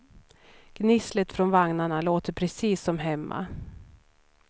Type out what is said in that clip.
Gnisslet från vagnarna låter precis som hemma.